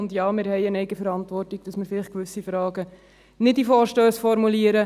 Und ja, wir haben eine Eigenverantwortung, dass wir vielleicht gewisse Fragen nicht in Vorstössen formulieren.